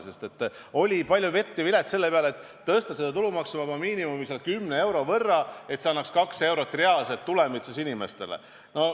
Tookord oli palju vett ja vilet ehk vaidlusi selle üle, kas tõsta tulumaksuvaba miinimumi 10 euro võrra, nii et see annaks inimestele 2 eurot reaalset tulemit.